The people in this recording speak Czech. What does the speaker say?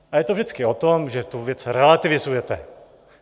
A je to vždycky o tom, že tu věc relativizuje.